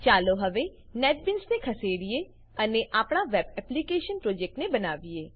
ચાલો હવે નેટબીન્સને ખસેડીએ અને આપણા વેબ એપ્લીકેશન પ્રોજેક્ટને બનાવીએ